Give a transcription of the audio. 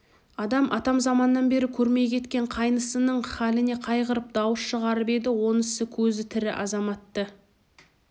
адам атамзаманнан бері көрмей кеткен қайнысының халіне қайғырып дауыс шығарып еді онысы көзі тірі азаматты